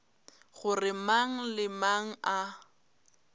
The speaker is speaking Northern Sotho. gore mang le mang a